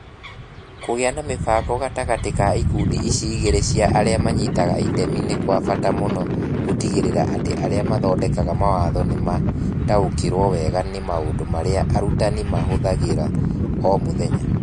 Kũgĩa na mĩbango gatagatĩ-inĩ ka ikundi ici igĩrĩ cia arĩa maranyita itemi nĩ kwa bata mũno gũtigĩrĩra atĩ arĩa mathondekaga mawatho nĩ mataũkagĩrũo wega nĩ maũndũ marĩa arutani mahũthagĩra o mũthenya.